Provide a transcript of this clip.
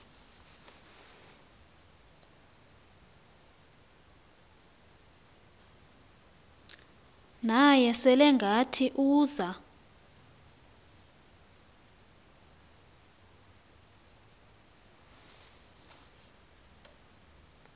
naye selengathi uza